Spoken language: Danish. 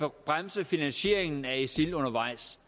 at bremse finansieringen af isil undervejs